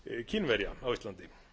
kínverja á íslandi